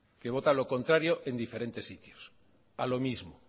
que vota lo contrario en diferentes sitios a lo mismo